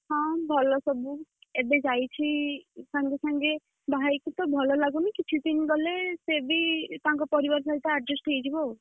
ହଁ ଭଲ ସବୁ। ଏବେ ଯାଇଛି ସଙ୍ଗେ ସଙ୍ଗେ, ବାହାହେଇକି ତ ଭଲ ଲାଗୁନି କିଛି ଦିନ ଗଲେ ସେ ବି ତାଙ୍କ ପରିବାର ସହିତ adjust ହେଇଯିବ ଆଉ।